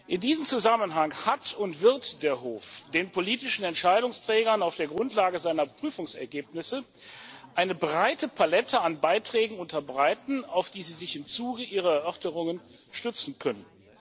In diesem Zusammenhang hat und wird der Hof den politischen Entscheidungsträgern auf der Grundlage seiner Prüfungsergebnisse eine breite Palette an Beiträgen unterbreiten, auf die sie sich im Zuge ihrer Erörterungen stützen können.